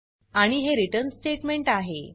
आणि हे return statement आहे